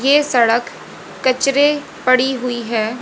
ये सड़क कचरे पड़ी हुई है।